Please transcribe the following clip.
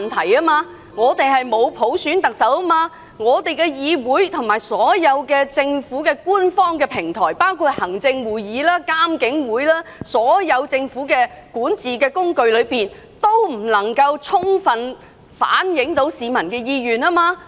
香港沒有特首普選，香港的議會和所有政府官方平台，包括行政會議及獨立監察警方處理投訴委員會，全都無法充分反映市民的意願。